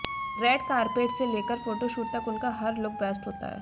red carpet से लेकर photoshoot तक उनका हर लुक बेस्ट होता है